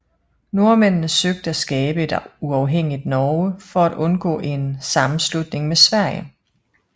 Nordmændene søgte at skabe et uafhængigt Norge for at undgå en sammenslutning med Sverige